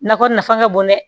Nakɔ nafa ka bon dɛ